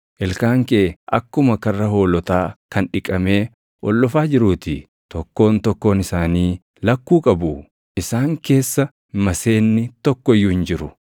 Ilkaan kee akkuma karra hoolotaa kan dhiqamee ol dhufaa jiruu ti. Tokkoon tokkoon isaanii lakkuu qabu; isaan keessa maseenni tokko iyyuu hin jiru.